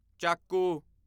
ਚਾਕੂ